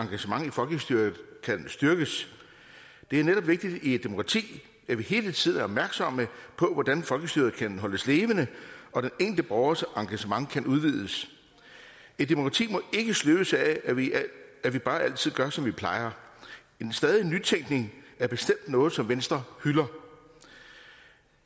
engagement i folkestyret kan styrkes det er netop vigtigt i et demokrati at vi hele tiden er opmærksomme på hvordan folkestyret kan holdes levende og den enkelte borgers engagement kan udvides et demokrati må ikke sløves af at vi at vi bare altid gør som vi plejer en stadig nytænkning er bestemt noget som venstre hylder